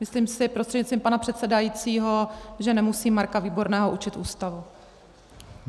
Myslím si prostřednictvím pana předsedajícího, že nemusím Marka Výborného učit Ústavu.